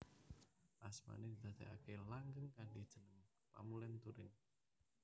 Asmané didadèaké langgeng kanthi jeneng Pamulèn Turing